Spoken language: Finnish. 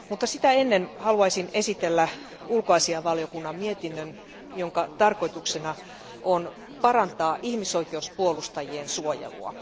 Sitä ennen haluaisin esitellä ulkoasianvaliokunnan mietinnön, jonka tarkoituksena on parantaa ihmisoikeuspuolustajien suojelua.